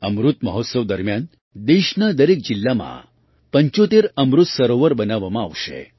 અમૃત મહોત્સવ દરમિયાન દેશના દરેક જિલ્લામાં ૭૫ અમૃત સરોવર બનાવવામાં આવશે